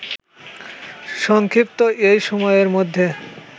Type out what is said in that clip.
সংক্ষিপ্ত এই সময়ের মধ্যে